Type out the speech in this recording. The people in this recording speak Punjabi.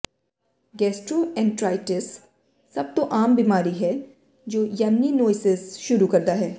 ਗੈਸਟਰੋਐਂਟਰਾਇਟਿਸ ਸਭ ਤੋਂ ਆਮ ਬਿਮਾਰੀ ਹੈ ਜੋ ਯੈਸਨੀਨੋਇਸਿਜ਼ ਸ਼ੁਰੂ ਕਰਦਾ ਹੈ